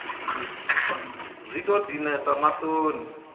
a zwi tou dinesa maṱoni